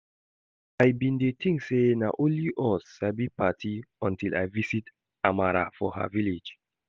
I bin dey think say na only us sabi party untill I visit Amara for her village